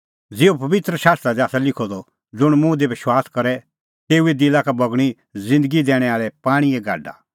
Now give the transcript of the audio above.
ज़िहअ पबित्र शास्त्रा दी आसा लिखअ द ज़ुंण मुंह दी विश्वास करे तेऊए दिला का बगणीं ज़िन्दगी दैणैं आल़ै पाणींए गाडा